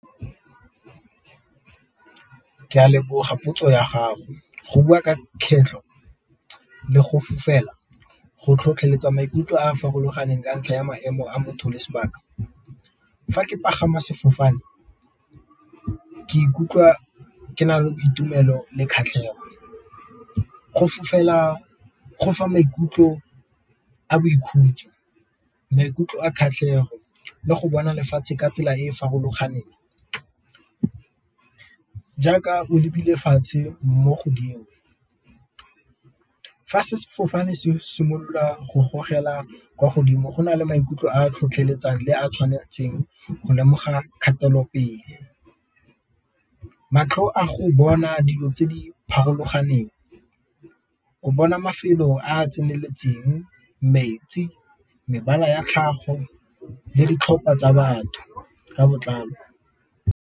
Ke a leboga potso ya gago go bua ka kgetlho le go fofela go tlhotlheletsa maikutlo a a farologaneng ka ntlha ya maemo a motho le sebaka. Fa ke pagama sefofane ke ikutlwa ke na le boitumelo le kgatlhego, go fofela go fa maikutlo a boikhutso maikutlo a kgatlhego le go bona lefatshe ka tsela e e farologaneng, jaaka o lebile fatshe mo godimo. Fa sefofane se simolola go gogela kwa godimo go na le maikutlo a tlhotlheletsang le a tshwanetseng go lemoga kgatelopele, matlho a go bona dilo tse di o bona mafelo a a tseneletseng, metsi, mebala ya tlhago, le ditlhopha tsa batho ka botlalo.